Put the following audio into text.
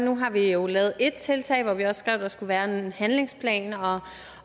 nu har vi jo lavet ét tiltag hvor vi også skrev at der skulle være en handlingsplan